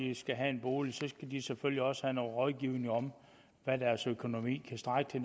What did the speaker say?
de skal have en bolig selvfølgelig også skal have noget rådgivning om hvad deres økonomi kan strække til